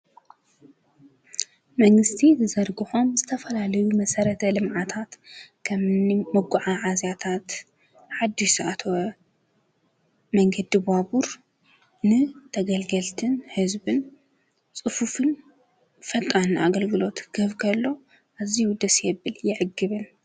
መንግሥቲ ዝዘርግሖም ዝተፈላልዩ መሠረት አለምዓታት ኸምኒ መጕዓዝይታት ሓድሽዝኣትወ መንገዲ ባቡር ን ተገልገልትን ሕዝብን ጽፉፍን ፈጣን ኣገልግሎት እዚይ የዕግብን።